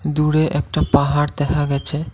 দূরে একটা পাহাড় দেখা গেছে ।